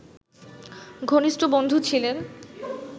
ঘনিষ্ঠ বন্ধু ছিলেন